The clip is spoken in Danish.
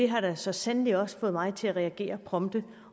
har da så sandelig også fået mig til at reagere prompte